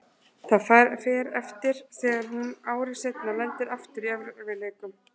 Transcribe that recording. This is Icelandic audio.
Það fer eftir þegar hún ári seinna lendir aftur í erfiðleikum.